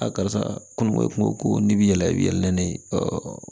A karisa kunun kun ko ko n'i bi yɛlɛ i bi yɛlɛ n'o ye